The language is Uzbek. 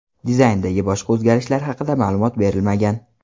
Dizayndagi boshqa o‘zgarishlar haqida ma’lumot berilmagan.